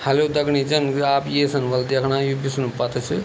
हेल्लो दगड़ियों जन की आप ये सब ह्वोल देखणा यु विष्णु पथ च।